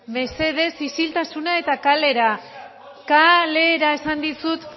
mesedez isiltasuna eta kalera kalera esan dizut